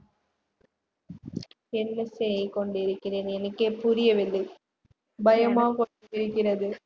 என்ன செய்கொண்டிருக்கிறேன் எனக்கே புரியவில்லை பயமாக இருக்கிறது